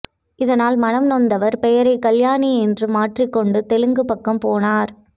இதனால் மனம் நொந்தவர் பெயரை கல்யாணி என்று மாற்றிக் கொண்டு தெலுங்கு பக்கம் போனார்